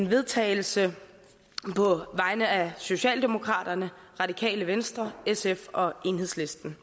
vedtagelse på vegne af socialdemokraterne radikale venstre sf og enhedslisten